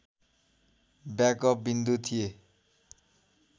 backup विन्दु थिए